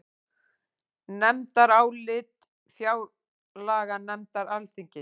Nefndarálit fjárlaganefndar Alþingis